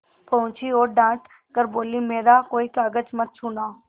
पहुँची और डॉँट कर बोलीमेरा कोई कागज मत छूना